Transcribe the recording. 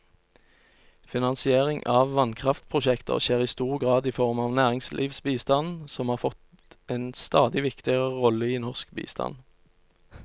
Finansiering av vannkraftprosjekter skjer i stor grad i form av næringslivsbistand, som har fått en stadig viktigere rolle i norsk bistand.